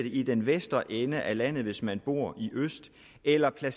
i den vestre ende af landet hvis man bor i øst eller det